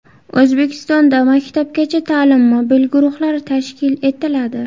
O‘zbekistonda maktabgacha ta’lim mobil guruhlari tashkil etiladi.